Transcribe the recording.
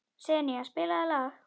Senía, spilaðu lag.